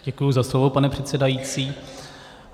Děkuji za slovo, pane předsedající.